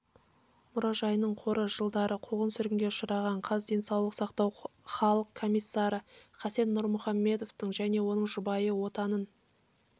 мұражайының қоры жылдары қуғын-сүргінге ұшыраған қаз денсаулық сақтау халық комиссары хасен нұрмұхамедовтың және оның жұбайы отанын